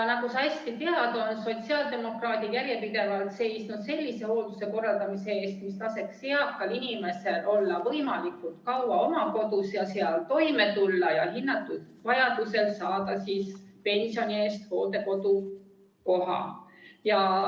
Nagu sa hästi tead, on sotsiaaldemokraadid järjepidevalt seisnud sellise hoolduse korraldamise eest, mis laseks eakal inimesel olla võimalikult kaua oma kodus ja seal toime tulla ning hinnatud vajaduse korral saada pensioni eest hooldekodukoha.